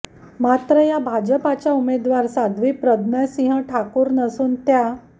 मात्र या भाजपच्या उमेदवार साध्वी प्रज्ञा सिंह ठाकूर नसून त्या